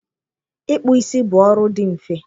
Ịkpụ isi bụ ọrụ dị mfe.